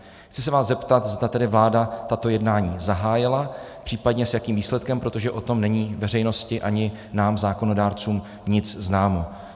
Chci se vás zeptat, zda tedy vláda tato jednání zahájila, případně s jakým výsledkem, protože o tom není veřejnosti ani nám zákonodárcům nic známo.